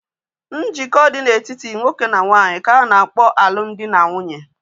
Njikọ dị na-etiti nwoke na nwaanyị ka a na-akpọ alụmdi na nwunye